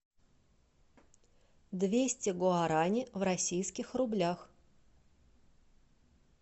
двести гуарани в российских рублях